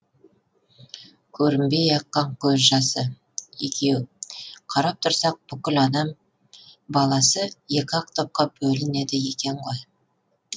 көрінбей аққан көз жасы екеу қарап тұрсақ бүкіл адам баласы екі ақ топқа бөлінеді екен ғой